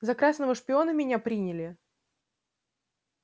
за красного шпиона меня приняли